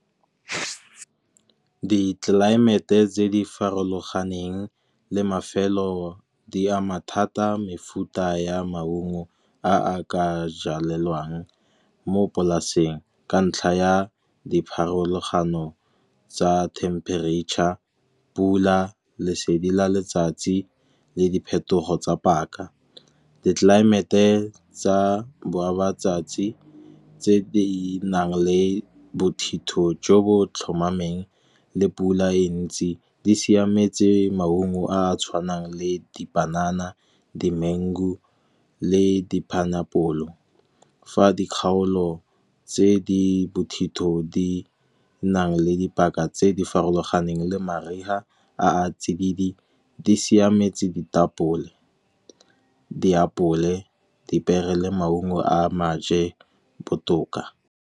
Ditlelaemete tse di farologaneng le mafelo, di ama thata mefuta ya maungo a ka jalwang mo polaseng. Ka ntlha ya dipharologano tsa temperature, pula, lesedi la letsatsi le diphetogo tsa paka. Ditlelaemete tsa botshabi matsatsi tse di nang le bothitho jo bo tlhomameng le pula e ntsi, di siametse maungo a a tshwanang le dipanana di-mango le di-pineapple. Fa dikgaolo tse di bothitho di nang le dipaka tse di farologaneng le mariga a a tsididi, di siametse ditapole, diapole, dipiere le maungo a maje botoka.